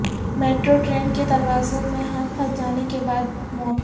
metro train کے دروازوں میں ہاتھ پھنس جانے کے بعد موت